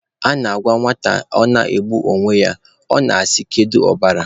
A na-agwa nwata na ọ na-egbu onwe ya, ọ na-asị kedu ọbara?